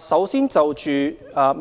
首先，關於